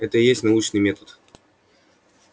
это и есть научный метод